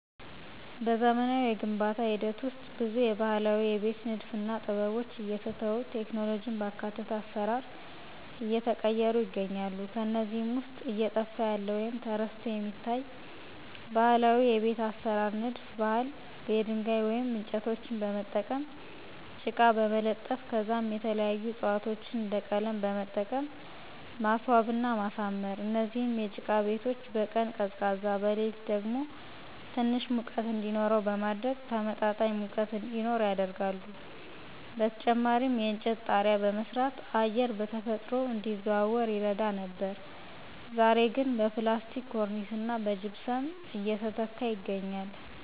በዘመናዊ የግንባታ ሂደት ውስጥ ብዙ የባህላዊ የቤት ንድፍና ጥበቦች እየተተው ቴክኖሎጂን ባካተተ አሰራር እየተቀየሩ ይገኛሉ። ከነዚህም ውስጥ እየጠፋ ያለ ወይም ተረስቶ የሚታይ ባህላዊ የቤት አሰራር ንድፍ ባህል የድንጋይ ወይም እንጨቶችን በመጠቀም ጭቃ በመለጠፍ ከዛም የተለያዩ ዕፅዋቶችን እንደ ቀለም በመጠቀም ማስዋብና ማሳመር። እነዚህ የጭቃ ቤቶች በቀን ቀዝቃዛ በሌሊት ደግሞ ትንሽ ሙቀት እንዲኖረው በማድረግ ተመጣጣኝ ሙቀት እዲኖር ያደርጋሉ። በተጨማሪም የእንጨት ጣሪያ በመስራት አየር በተፈጥሮ እንዲዘዋወር ይረዳ ነበር ዛሬ ግን በፕላስቲክ ኮርኒስና በጅፕሰም እየተተካ ይገኛል።